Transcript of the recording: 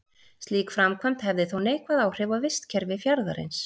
Slík framkvæmd hefði þó neikvæð áhrif á vistkerfi fjarðarins.